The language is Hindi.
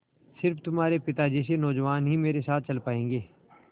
स़िर्फ तुम्हारे पिता जैसे नौजवान ही मेरे साथ चल पायेंगे